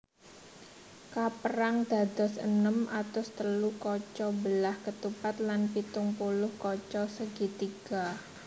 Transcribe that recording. Kapérang dados enem atus telu kaca belah ketupat lan pitung puluh kaca segitiga